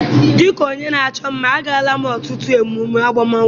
Dịka onye na-achọ mma, agala m ọtụtụ emume agbamakwụkwọ.